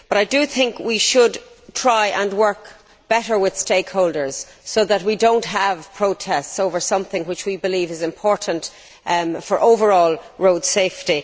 I think we should try to work better with stakeholders, so that we do not have protests over something which we believe is important for overall road safety.